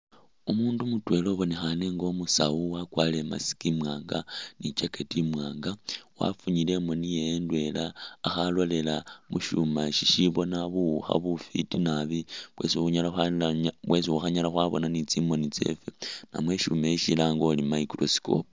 Umuundu mutwela ubonekhane nga umusawu wakwalire i'mask imwaanga ni jacket imwaanga wafunyile imooni yewe indwela akhalolela mu shuma shishibona buwukha bufiti naabi bwesi khukhanyala khwabona ni tsi mooni tsefe namwe ishuma ishi silange uri microscope.